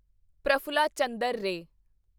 Prafulla Chandra Re